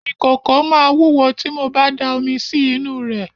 Ìkòkò máa wúwo tí mo ba da omi sí inú rẹ̀.